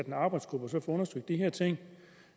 en arbejdsgruppe og så får undersøgt de her ting